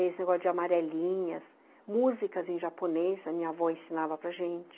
Esse negócio de amarelinhas, músicas em japonês, a minha avó ensinava para gente.